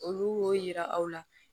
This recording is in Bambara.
Olu y'o yira aw la